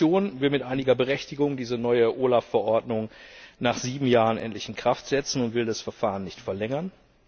Die Kommission will mit einiger Berechtigung diese neue OLAF Verordnung nach sieben Jahren endlich in Kraft setzen und will das Verfahren nicht verlängern.